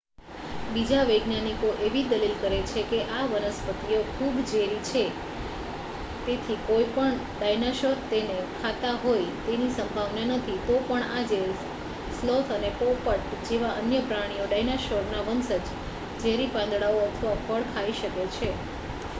બીજા વૈજ્ઞાનિકો એવી દલીલ કરે છે કે આ વનસ્પતિઓ ખૂબ ઝેરી છે તેથી કોઇપણ ડાઈનોસોર તેને ખાતા હોય તેની સંભાવના નથી તો પણ આજે સ્લોથ અને પોપટ જેવા અન્ય પ્રાણીઓ ડાયનોસોરનાં વંશજ ઝેરી પાંદડાઓ અથવા ફળ ખાઈ શકે છે